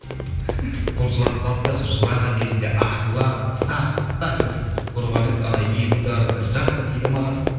ол жылап қалды да сол жылаған кезінде ашуланып тарс тарс еткізіп ұрған еді ана екі удары да жақсы тиді маған